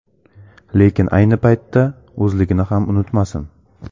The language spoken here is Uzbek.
Lekin ayni paytda o‘zligini ham unutmasin.